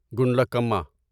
گنڈلکما